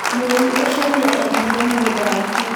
Mũrĩmi ũcio nĩ endirie mũgũnda wake.